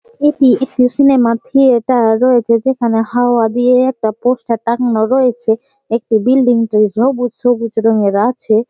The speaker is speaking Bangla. এটি একটি সিনেমার থিয়েটার রয়েছে যেখানে হাওয়া দিয়ে একটা পোস্টার টাঙ্গানো রয়েছে। একটি বিল্ডিং সবুজ সবুজ রঙের আছে।